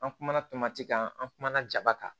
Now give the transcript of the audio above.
An kumana tomati kan an kumana jaba kan